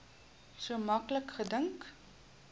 so maklik gedink